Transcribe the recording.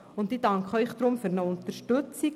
Deshalb danke ich Ihnen für Ihre Unterstützung.